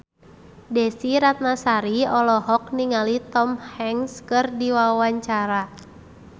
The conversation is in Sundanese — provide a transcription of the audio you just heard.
Desy Ratnasari olohok ningali Tom Hanks keur diwawancara